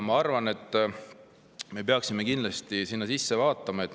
Ma arvan, et me peaksime kindlasti sellesse.